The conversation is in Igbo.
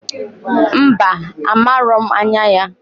Mba! Amaro m anya ya.